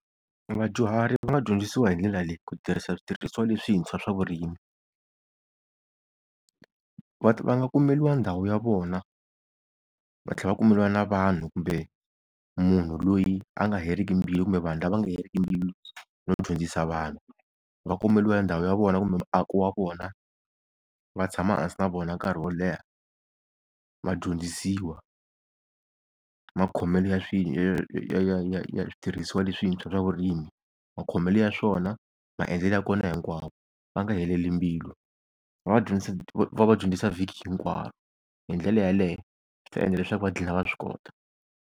Vadyuhari va nga dyondzisiwa hindlela leyi ku tirhisa switirhisiwa leswintshwa swa vurimi, va va nga kumeriwa ndhawu ya vona va tlhela va kumeliwa na vanhu kumbe munhu loyi a nga heriki mbilu kumbe vanhu lava nga heriki mbilu no dyondzisa vanhu. Va kumeliwa ndhawu ya vona kumbe muako wa vona, va tshama hansi na vona nkarhi wo leha vadyondzisiwa makhomelo ya ya switirhisiwa leswintshwa swa vurimi, makhomelo ya swona, maendlelo ya kona hinkwawo va nga heleli mbilu, va va vadyondzisa vhiki hinkwaro hindlela yaleyo swi ta endla leswaku va gina va swikota.